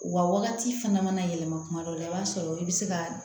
U ka wagati fana mana yɛlɛma kuma dɔw la i b'a sɔrɔ i be se ka